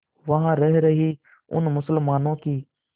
वहां रह रहे उन मुसलमानों की